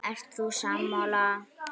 Ert þú sammála?